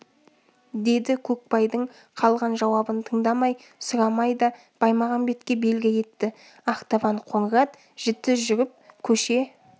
деді көкбайдың қалған жауабын тыңдамай сұрамай да баймағамбетке белгі етті ақтабан қоңыр ат жіті жүріп көше